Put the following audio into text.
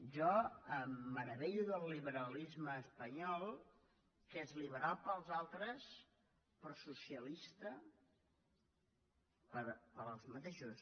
jo em meravello del liberalisme espanyol que és liberal per als altres però socialista per a ells mateixos